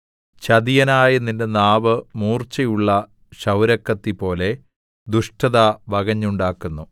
ചതിയനായ നിന്റെ നാവ് മൂർച്ചയുള്ള ക്ഷൗരക്കത്തിപോലെ ദുഷ്ടത വകഞ്ഞുണ്ടാക്കുന്നു